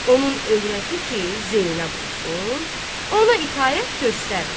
Onun övrəti ki, Zeynəb olsun, ona itaət göstərmir.